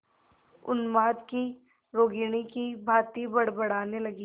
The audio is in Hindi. उन्माद की रोगिणी की भांति बड़बड़ाने लगी